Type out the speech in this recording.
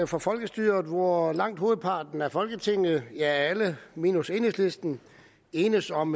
for folkestyret hvor langt hovedparten af folketinget ja alle minus enhedslisten enes om